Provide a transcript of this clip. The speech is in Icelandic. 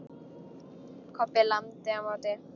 Kobbi lamdi á móti.